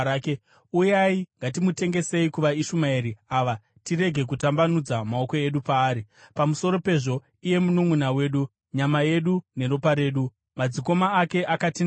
Uyai, ngatimutengesei kuvaIshumaeri ava tirege kutambanudza maoko edu paari; pamusoro pezvo iye mununʼuna wedu, nyama yedu neropa redu.” Madzikoma ake akatenderana.